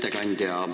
Hea ettekandja!